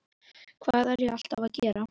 Hvað er ég alltaf að gera?